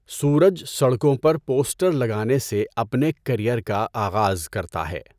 سورج سڑکوں پر پوسٹر لگانے سے اپنے کیریئر کا آغاز کرتا ہے۔